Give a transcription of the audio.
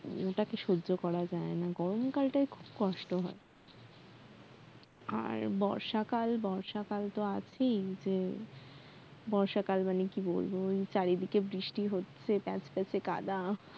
ওটাকে সহ্য করা যায় না গরমকালটা খুব কষ্ট হয় আর বর্ষাকাল বর্ষাকাল তো আছেই যে বর্ষা কাল মানে কি বলব চারিদিকে বৃষ্টি হচ্ছে প্যাচপ্যাচে কাঁদা